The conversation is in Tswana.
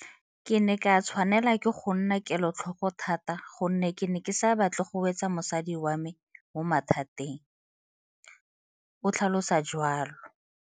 Ke ne ka tshwanelwa ke go nna kelotlhoko thata gonne ke ne ke sa batle go wetsa mosadi wa me mo mathateng, o tlhalosa jalo.